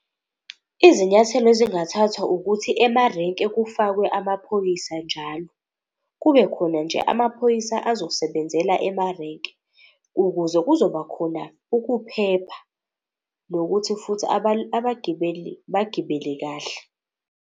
Izinyathelo ezingathathwa ukuthi emarenke kufakwe amaphoyisa njalo. Kube khona nje amaphoyisa azosebenzela emarenke, ukuze kuzoba khona ukuphepha, nokuthi futhi abagibeli bagibele kahle.